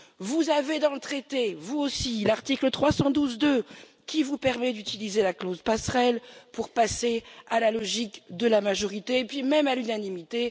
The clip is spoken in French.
Vous avez dans le traité, vous aussi, l'article 312, paragraphe 2 qui vous permet d'utiliser la clause passerelle pour passer à la logique de la majorité et puis même, à l'unanimité.